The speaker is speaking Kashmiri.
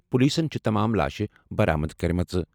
پولیسَن چھِ تمام لاشہِ برآمد کٔرمٕژ۔